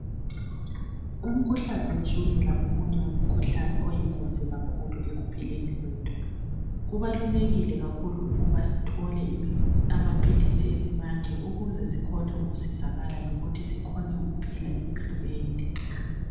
Umkhuhlane wetshukela ngomunye wemikhuhlane oyingozi kakhulu ekuphileni kwethu. Kubalulekile kakhulu ukuba sithole amaphilisi esimanje ukuze sikhone ukusizala lokuthi sikhone ukuphila impilo ende.